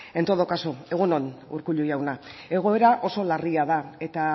en todo caso egun on urkullu jauna egoera oso larria da eta